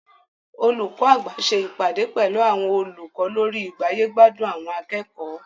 Olùkọ́ àgbà ṣe ìpàdé pẹlu àwọn olùkọ́ lórí igbáyé-gbádùn àwọn akẹ́kọ̀ọ́.